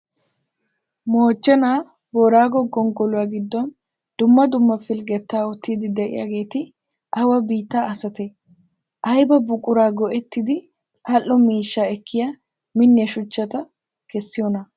Moochenaa booraago gonggoluwaa giddon dumma dumma pilggettaa ootide de'iyaageeti awa biittaa asate? Ayba buquraa go'ettidi adhdho miishshaa ekkiya minniya shuchchata kessiyoona?